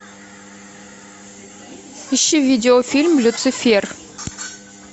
ищи видеофильм люцифер